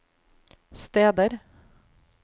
steder